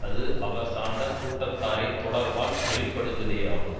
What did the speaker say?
அது அவர் சார்ந்த கூட்டத்தாரின் தொடர்பால் வெளிப்படுவதேயாகும்